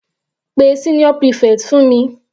Pe senior prefect fún mi.